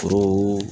Foro